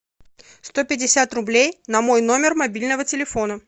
сто пятьдесят рублей на мой номер мобильного телефона